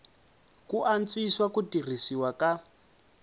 ku antswisa ku tirhisiwa ka